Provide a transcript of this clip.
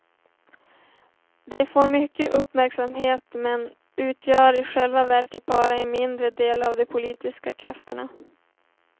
De får mycket uppmärksamhet men utgör i själva verket bara en mindre del av de politiska krafterna.